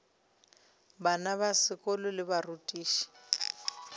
bana ba sekolo le barutiši